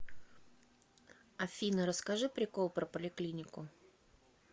афина расскажи прикол про поликлинику